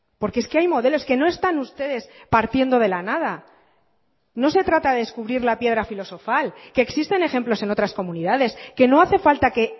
porque es que hay modelos que no están ustedes partiendo de la nada no se trata de descubrir la piedra filosofal que existen ejemplos en otras comunidades que no hace falta que